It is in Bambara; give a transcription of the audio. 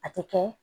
A tɛ kɛ